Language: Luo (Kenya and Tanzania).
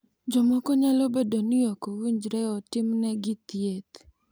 Jomoko nyalo bedo ni ok owinjore otimnegi thieth.